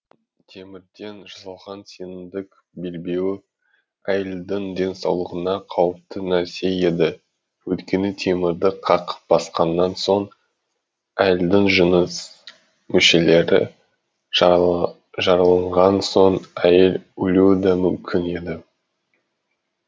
темірден жасалған сенімдік белбеуі әйелдің денсаулығына қауіпті нәрсе еді өйткені темірді қақ басқаннан соң әйелдің жыныс мүшелері жараланған соң әйел өлуі да мүмкін еді